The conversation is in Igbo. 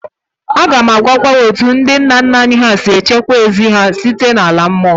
Aga m agwa gị etu ndị nna nna anyị si echekwa ezi ha site n'ala mmụọ